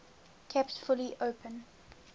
kept fully open